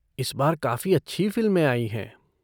इस बार काफ़ी अच्छी फ़िल्में आयी हैं।